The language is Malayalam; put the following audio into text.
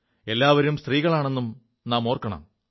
എല്ലാവരും സ്ത്രീകളാണെും ഓർക്കണം